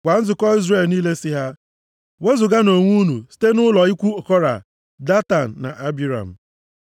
“Gwa nzukọ Izrel niile sị ha, ‘Wezuganụ onwe unu site nʼụlọ ikwu Kora, Datan na Abiram.’ ”